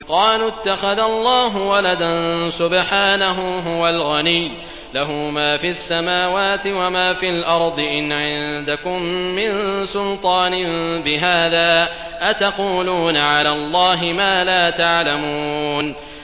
قَالُوا اتَّخَذَ اللَّهُ وَلَدًا ۗ سُبْحَانَهُ ۖ هُوَ الْغَنِيُّ ۖ لَهُ مَا فِي السَّمَاوَاتِ وَمَا فِي الْأَرْضِ ۚ إِنْ عِندَكُم مِّن سُلْطَانٍ بِهَٰذَا ۚ أَتَقُولُونَ عَلَى اللَّهِ مَا لَا تَعْلَمُونَ